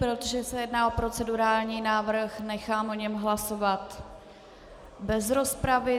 Protože se jedná o procedurální návrh, nechám o něm hlasovat bez rozpravy.